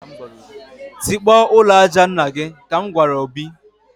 Tikpọọ ụlọ aja nna gị!, ka m gwara Obi